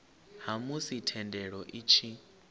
ha musi thendelo i tshi